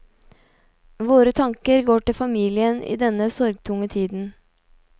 Våre tanker går til familien i denne sorgtunge tiden.